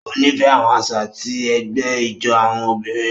O nifẹ àwọn àṣà ti ẹgbẹ ijó àwọn obìnrin.